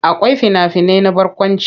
Akwai fina-finai na barkwanci.